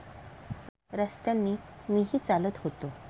रस्त्यांनी मीही चालत होतो.